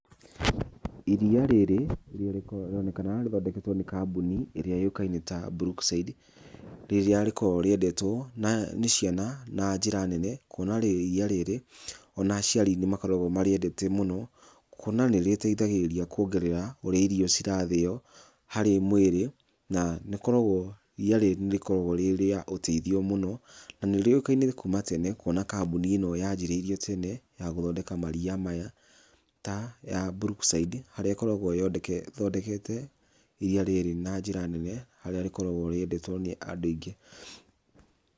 Iria rĩrĩ rĩrĩa rĩronekana rĩthondeketwo nĩ kambuni ĩrĩa yũĩkaine ta Brookside, rĩrĩa rĩkoragwo rĩendetwo nĩ ciana na njĩra nene, kuona atĩ iria rĩrĩ ona aciari nĩ makoragwo marĩendete mũno, kuona atĩ nĩ rĩteithagĩrĩria kuongerera ũrĩa irio cirathĩo harĩ mwĩrĩ, na nĩ ũkoragwo iria rĩrĩ nĩ rĩkoragwo rĩrĩ rĩa ũteithio mũno, na nĩ rĩũikaine kuma tena kuona kambuni ĩno yanjĩrĩirio tene ya gũthondeka maria maya, ta ya Brookside harĩa ĩkoragwo ĩthondekete iria rĩrĩ na njĩra nene harĩa rĩkoragwo rĩendetwo nĩ andũ aingĩ.